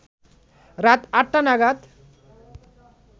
রাত আটটা নাগাদ